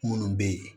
Minnu bɛ yen